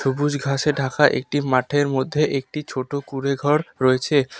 সবুজ ঘাসে ঢাকা একটি মাঠের মধ্যে একটি ছোট কুঁড়েঘর রয়েছে।